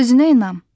Özünə inam.